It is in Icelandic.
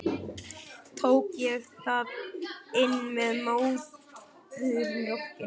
Tók ég það inn með móðurmjólkinni?